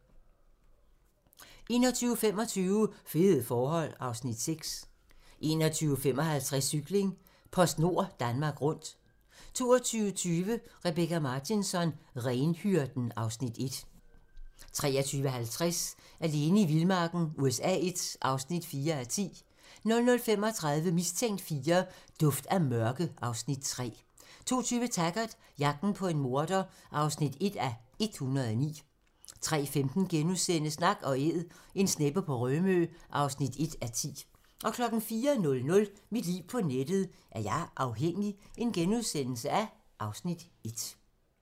21:25: Fede forhold (Afs. 6) 21:55: Cykling: PostNord Danmark Rundt 22:20: Rebecka Martinsson: Renhyrden (Afs. 1) 23:50: Alene i vildmarken USA I (4:10) 00:35: Mistænkt IV: Duft af mørke (Afs. 3) 02:20: Taggart: Jagten på en morder (1:109) 03:15: Nak & Æd - en sneppe på Rømø (1:10)* 04:00: Mit liv på nettet: Er jeg afhængig? (Afs. 1)*